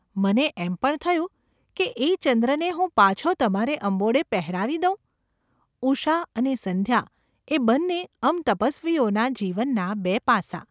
મને એમ પણ થયું કે એ ચંદ્રને હું પાછો તમારે અંબોડે પહેરાવી દઉં ! ઉષા અને સંધ્યા એ બંને અમ તપસ્વીઓના જીવનનાં બે પાસાં.